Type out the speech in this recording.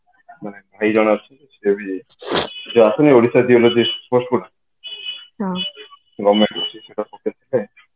ଭାଇ ଜେନ ଅଛନ୍ତି ଯୋଉ ଅଶୂନ୍ୟ ଓଡିଶା geologist post ଗୁଡା government ର